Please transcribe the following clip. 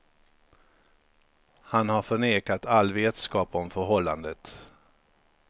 Han har förnekat all vetskap om förhållandet.